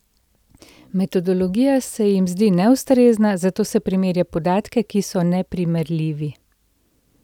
Metodologija se jim zdi neustrezna, zato se primerja podatke, ki so neprimerljivi.